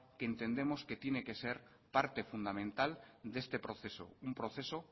que entendemos que tiene que ser parte fundamental de este proceso un proceso